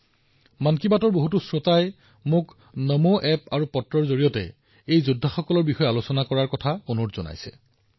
মোক মন কী বাতৰ বহু শ্ৰোতাই নমো এপ আৰু চিঠিৰ জৰিয়তে এই যোদ্ধাসকলৰ বিষয়ে আলোচনা কৰিবলৈ আহ্বান জনাইছে